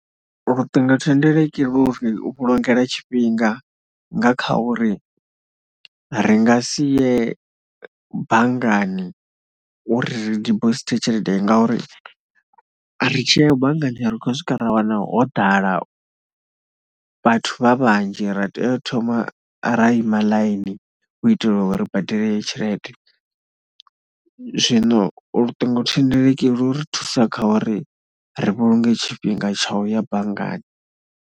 Luṱingothendeleki lu ri vhulungela tshifhinga nga kha uri, ri nga si ye banngani uri ri dibosithe tshelede ngauri ri tshi ya banngani ri khou swika ra wana ho ḓala vhathu vha vhanzhi ra tea u thoma ra ima ḽaini, u itelwa uri ri badele tshelede. Zwino luṱingothendeleki lu u ri thusa kha uri ri vhulunge tshifhinga tsha u ya banngani.